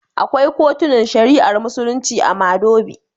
Akwai kotunan shari'ar Musulunci a Madobi.